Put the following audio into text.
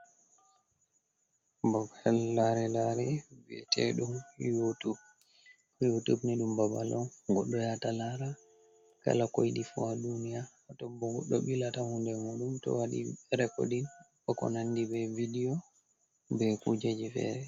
Bobal lare lare viete dum yotub, YoTube ni dum babal on bo dum goddo yata lara kala koyiidi fu a duniya, to bo dobilata hunde modum to wadi rekordin koko nandi be video be kuje ji fere.